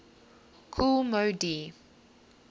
kool moe dee